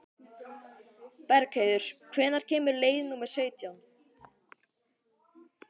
Bergheiður, hvenær kemur leið númer sautján?